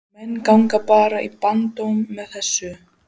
Og menn ganga bara í barndóm með þessu?